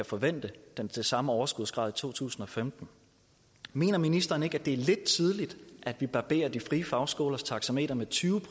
forvente den samme overskudsgrad i to tusind og femten mener ministeren ikke at det er lidt tidligt at vi barberer de frie fagskolers taxameter med tyve